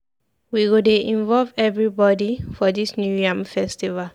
We go dey involve everybody for dis New yam Festival.